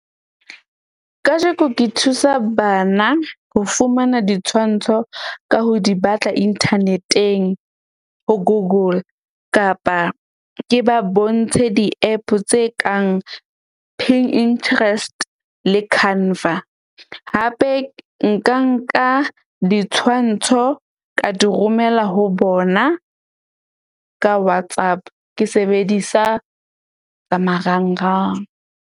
Kajeko ke thusa bana ho fumana ditshwantsho ka ho di batla inthaneteng, ho Google kapa ke ba bontshe di-app tse kang Pinterest le Canva. Hape nka nka ditshwantsho ka di romela ho bona ka WhatsApp. Ke sebedisa tsa marangrang.